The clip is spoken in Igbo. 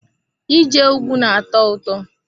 Ije ùgwù na-atọ ụtọ.